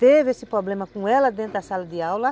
Teve esse problema com ela dentro da sala de aula.